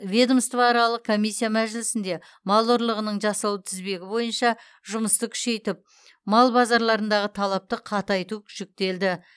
ведомствоаралық комиссия мәжілісінде мал ұрлығының жасалу тізбегі бойынша жұмысты күшейтіп мал базарларындағы талапты қатайту жүктелді